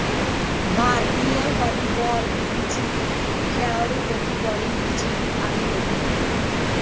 भारतीय व्हॉलीबॉल टीमची खेळाडू होती बॉलिवूडची 'ही' अभिनेत्री